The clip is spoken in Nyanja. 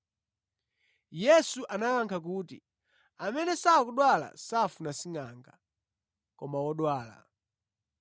Yesu anawayankha kuti, “Amene sakudwala safuna singʼanga, koma odwala.